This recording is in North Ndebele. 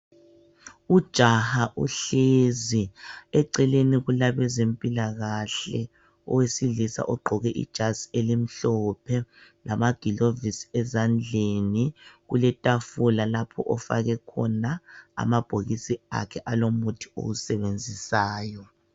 Ujaha uhlezi eceleni kulabezempilakahle owesilisa ugqoke ijazi elimhlophe lamagilovisi ezandleni kuletafula lapho ofake khona amabhokisi akhe alomuthi owusebenzisayo.